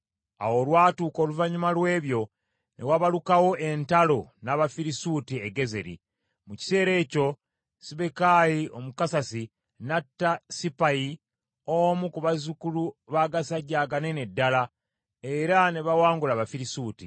Awo olwatuuka oluvannyuma lw’ebyo ne wabalukawo entalo n’Abafirisuuti e Gezeri. Mu kiseera ekyo Sibbekayi Omukusasi n’atta Sippayi omu ku bazzukulu b’agasajja aganene ddala, era ne bawangula Abafirisuuti.